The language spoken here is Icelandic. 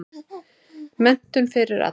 Menntun fyrir alla.